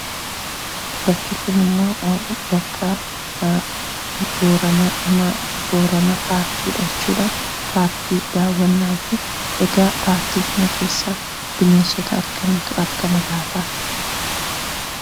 Bakki kunimmoo bakka Booranaa paarkiidha jechuudha. Paarkii daawwannaatiif egaa paarkiidhuma keessa bineensota akkamiitu argama laata?